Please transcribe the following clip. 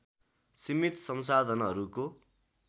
सीमित संसाधनहरूको